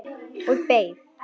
Og beið.